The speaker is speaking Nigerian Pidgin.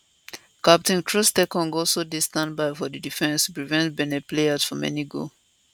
captain troostekong also dey standby for di defence to prevent benin player from any goal